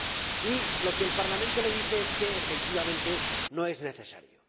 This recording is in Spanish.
Y lo que el Parlamento le dice es que, efectivamente, no es necesario.